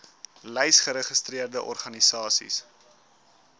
lys geregistreerde organisasies